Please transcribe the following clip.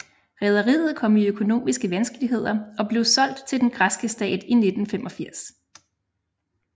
Rederiet kom i økonomiske vanskeligheder og blev solgt til den græske stat i 1985